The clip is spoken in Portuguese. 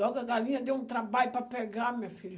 Logo a galinha deu um trabalho para pegar, minha filha.